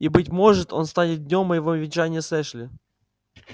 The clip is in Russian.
и быть может он станет днём моего венчания с эшли